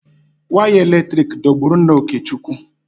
Wire eletrik dọgburu nna Okechukwu.